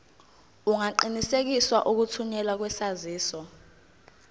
ungaqinisekisa ukuthunyelwa kwesaziso